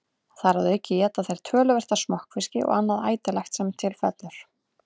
Þar að auki éta þeir töluvert af smokkfiski og annað ætilegt sem til fellur.